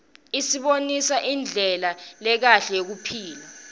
isibonisa indlela lekahle yekuphila